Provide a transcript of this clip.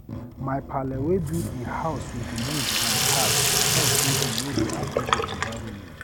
My paale wey build im house wit mud and thatch talk say e no dey affect di environment.